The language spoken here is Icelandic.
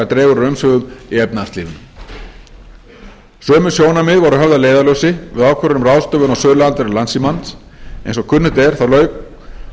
dregur úr umsvifum í efnahagslífinu sömu sjónarmið voru höfð að leiðarljósi við ákvörðun um ráðstöfun á söluandvirði landssímans en eins og kunnugt er lauk með